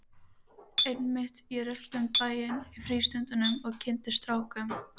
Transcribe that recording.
Einmitt, ég rölti um bæinn í frístundum og kynnist strákum!